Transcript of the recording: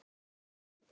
Já, voða erfitt.